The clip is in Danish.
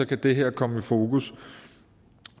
kan det her komme i fokus